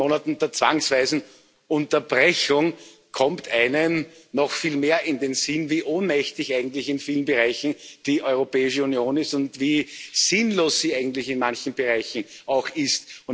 Nach einigen Monaten der zwangsweisen Unterbrechung kommt noch einem noch viel mehr in den Sinn, wie ohnmächtig eigentlich in vielen Bereichen die Europäische Union ist und wie sinnlos sie eigentlich in manchen Bereichen auch ist.